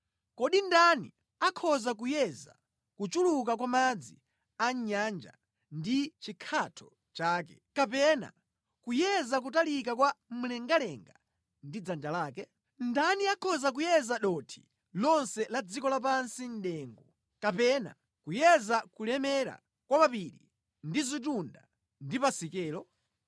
Kodi ndani akhoza kuyeza kuchuluka kwa madzi a mʼnyanja ndi chikhatho chake, kapena kuyeza kutalika kwa mlengalenga ndi dzanja lake? Ndani akhoza kuyeza dothi lonse la dziko lapansi mʼdengu, kapena kuyeza kulemera kwa mapiri ndi zitunda ndi pasikelo?